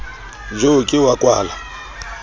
jo ke eo a kwala